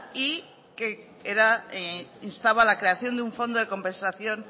y que instaba a la creación de un fondo de compensación